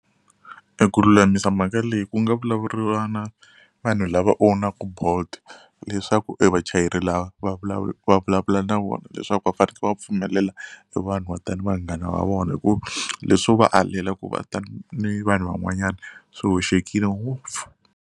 E ku lulamisa mhaka leyi ku nga vulavuriwa na vanhu lava own-aka bolt leswaku e vachayeri lava va va vulavula na vona leswaku va faneke va pfumelela e vanhu va ta ni vanghana va vona hi ku leswo va alela ku va ta ni vanhu van'wanyana swi hoxekile ngopfu.